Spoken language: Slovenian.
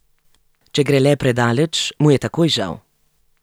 Če gre le predaleč, mu je takoj žal.